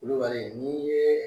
Culubali ni yeee